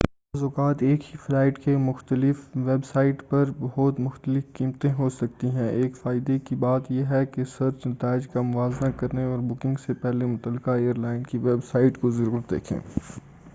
بعض اوقات ایک ہی فلائٹ کی مختلف ویب سائٹ پر بہت مختلف قیمتیں ہو سکتی ہیں اور ایک فائدے کی بات یہ کہ سرچ نتائج کا موازنہ کریں اور بکنگ سے پہلے متعلقہ ایر لائن کی ویب سائٹ کو ضرور دیکھیں